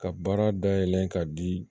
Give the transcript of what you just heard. Ka baara dayɛlɛ ka di